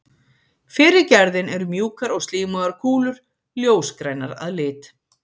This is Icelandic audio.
Fyrri gerðin eru mjúkar og slímugar kúlur, ljósgrænar að lit.